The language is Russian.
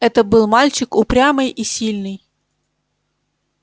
это был мальчик упрямый и сильный